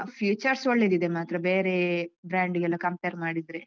ಅಹ್ features ಒಳ್ಳೆದಿದೆ ಮಾತ್ರ ಬೇರೆ brand ಗೆಲ್ಲ compare ಮಾಡಿದ್ರೆ.